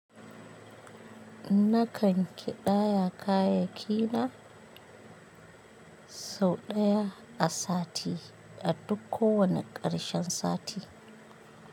Nakan kiɗaya kayayyakina sau ɗaya a sati a duk kowane ƙarshen sati.